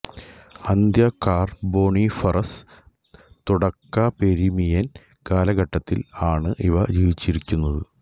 അന്ത്യ കാർബോണിഫറസ് തുടക പെർമിയൻ കാലഘട്ടത്തിൽ ആണ് ഇവ ജീവിച്ചിരുന്നത്